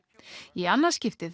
í annað skipti